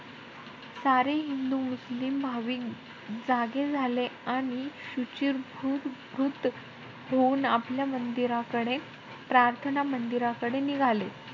सारे हिंदू-मुस्लिम भाविक जागे झाले. आणि शुचिर्भूतकृत होऊन आपल्या मंदिराकडे~ प्राथर्ना मंदिराकडे निघाले.